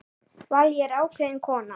Vallý var ákveðin kona.